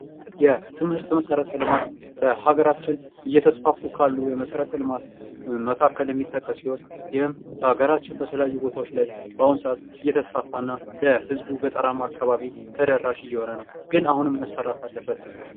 የትምህርት መሰረተ ልማት በሀገራችን እየተስፋፉ ካሉ የመሰረተ ልማት መካከል የሚጠቀስ ሲሆን ይህም በሀገራችን በተለያዩ ቦታዎች ላይ እየተስፋፋ ለህዝቡ ገጠራማ አካባቢ ተደራሽ እየሆነ ነዉ። ግን አሁንም መሰራት አለበት።